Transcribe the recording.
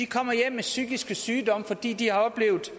kommer hjem med psykiske sygdomme fordi de har oplevet